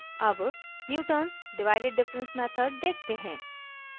अब newtons divided difference method देखते हैं